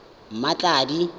mmatladi